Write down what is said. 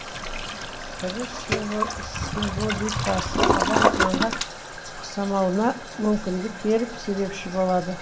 тері символикасы адам аңға ұқсауына мүмкіндік беріп себепші болады